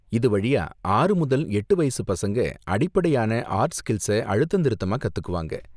இது வழியா, ஆறு முதல் எட்டு வயசு பசங்க அடிப்படையான ஆர்ட் ஸ்கில்ஸ அழுத்தந்திருத்தமா கத்துக்குவாங்க.